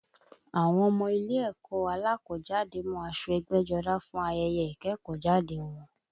Àwọn ọmọ ile ẹ̀kọ́ alákọ̀ọ́jáde mú aṣọ ẹgbẹ́jọdá fún ayẹyẹ ìkẹ́kọ̀ọ́ jáde wọn